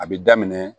A bi daminɛ